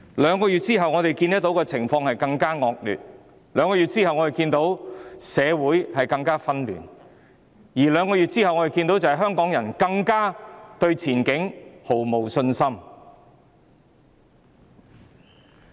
兩個月後，我們看到情況更惡劣；兩個月後，我們看到社會更紛亂；兩個月後，我們看到香港人對前景更是毫無信心。